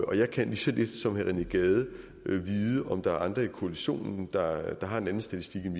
og jeg kan lige så lidt som herre rené gade vide om der er andre i koalitionen der har en anden statistik end